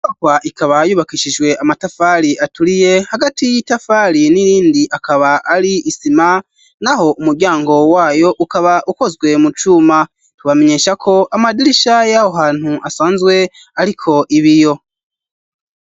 Iyo nyubakwa isanze bubagisishwe n'amatafari aturiye hagati y'itafari n'irindi akaba ariho isima twinjiye twasanzemwo bimwe mu vyandiko bigaragaza ukuntumbagenda barakora ibibazo aho mu vyo twabonye nizo wakorwa ku musi weju twasanze ari icirwa c'ubuhingaiko ikirwa tukwironderera ubuzima hamwe n'ugucapa n'ibindi.